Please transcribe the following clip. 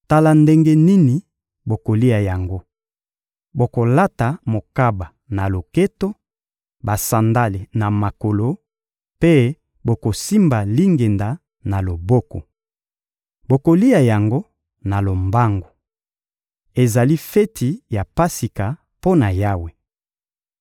Tala ndenge nini bokolia yango: bokolata mokaba na loketo, basandale na makolo, mpe bokosimba lingenda na loboko. Bokolia yango na lombangu. Ezali feti ya Pasika mpo na Yawe.